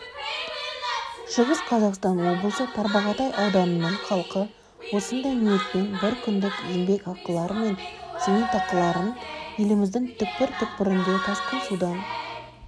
шығыс қазақстан облысы тарбағатай ауданының халқы осындай ниетпен біркүндік еңбекақылары мен зейнетақыларын еліміздің түкпір-түкпірінде тасқын судан